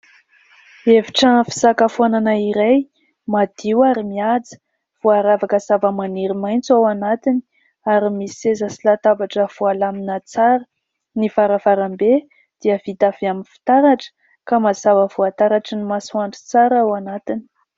Efitra fisakafoanana iray madio ary mihaja. Voaravaka zavamaniry maitso ao anatiny ary misy seza sy latabatra voalamina tsara. Ny varavarambe dia vita avy amin'ny fitaratra ka mazava voataratry ny masoandro tsara ao anatiny.